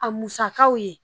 A musakaw ye